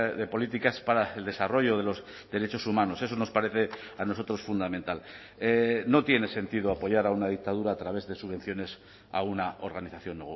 de políticas para el desarrollo de los derechos humanos eso nos parece a nosotros fundamental no tiene sentido apoyar a una dictadura a través de subvenciones a una organización